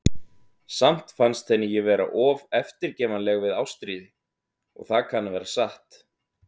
Samt fannst henni ég vera of eftirgefanleg við Ástríði, og það kann að vera satt.